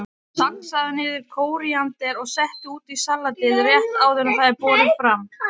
Saxaðu niður kóríander og settu út í salatið rétt áður en það er borið fram.